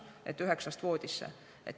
Et kella üheksast voodisse?